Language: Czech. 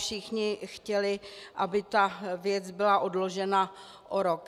Všichni chtěli, aby ta věc byla odložena o rok.